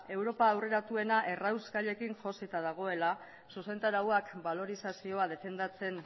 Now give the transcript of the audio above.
europa aurreratuena errauskailuekin josita dagoela zuzentarauak balorazioan defendatzen